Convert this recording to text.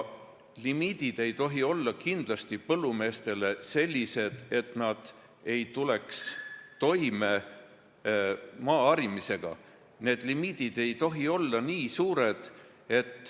Muidugi ei tohi limiidid olla sellised, et põllumehed ei tule maaharimisega toime.